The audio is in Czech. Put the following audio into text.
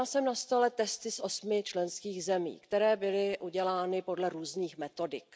Měla jsem na stole testy z osmi členských zemí, které byly udělány podle různých metodik.